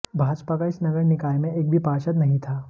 भाजपा का इस नगर निकाय में एक भी पार्षद नहीं था